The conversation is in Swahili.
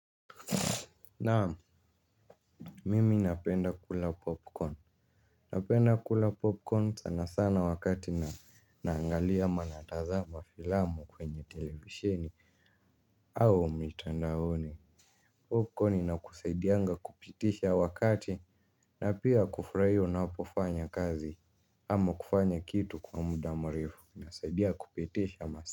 Naamu. Mimi napenda kula popcorn. Napenda kula popcorn sana sana wakati naangalia ama natazama filamu kwenye televisheni au mitandaoni Popcorn inakusaidianga kupitisha wakati na pia kufurahia unahapofanya kazi. Ama kufanya kitu kwa muda murefu inasaidia kupitisha masaa.